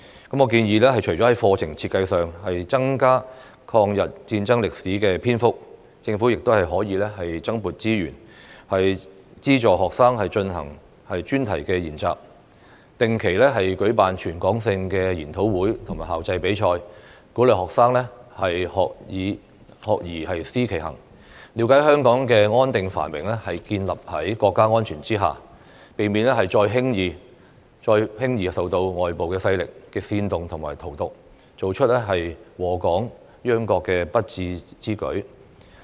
我建議，除了在課程設計上增加抗日戰爭歷史的篇幅，政府亦可增撥資源，資助學生進行專題研習，定期舉辦全港性的研討會和校際比賽，鼓勵學生"學而思其行"，了解香港的安定繁榮是建立在國家安全之下，避免再輕易受到外部勢力的煽動和荼毒，做出禍港殃國的不智之舉。